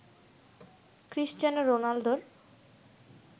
Cristiano রোনালদোর